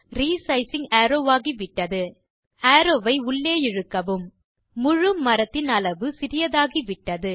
re sizing arrow ஆகிவிட்டது arrow ஐ உள்ளே இழுக்கவும் முழு மரத்தின் அளவு சிறியதாகிவிட்டது